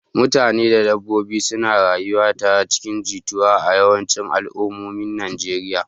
Mutane da dabbobi suna rayuwa tare cikin jituwa a yawancin al'ummomin Najeriya.